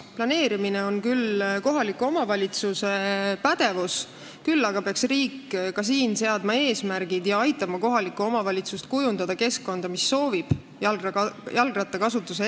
Planeerimine on küll kohaliku omavalitsuse pädevuses, küll aga peaks ka riik siin eesmärgid seadma ja aitama kohalikul omavalitsusel kujundada keskkonda, mis soosib jalgratta kasutamist.